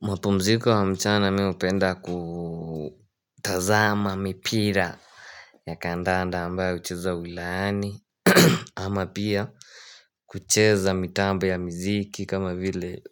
Mapumziko ya mchana mimi hupenda kutazama mipira ya kandanda ambayo huchezwa ulaani Ama pia kucheza mitambo ya mziki kama vile